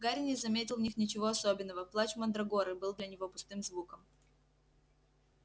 гарри не заметил в них ничего особенного плач мандрагоры был для него пустым звуком